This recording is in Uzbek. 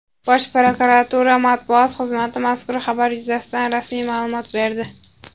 Bosh prokuratura Matbuot xizmati mazkur xabar yuzasidan rasmiy ma’lumot berdi.